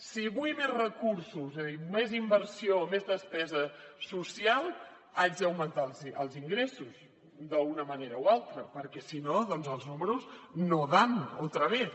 si vull més recursos és a dir més inversió més despesa social haig d’augmentar els ingressos d’una manera o altra perquè si no doncs els números no dan otra vez